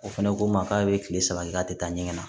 O fɛnɛ ko n ma k'a ye kile saba kɛ k'a te taa ɲɛŋa na